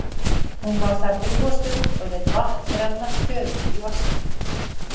Hún var þar drjúga stund og lét vatn renna stöðugt í vaskinn.